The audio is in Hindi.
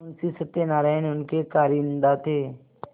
मुंशी सत्यनारायण उनके कारिंदा थे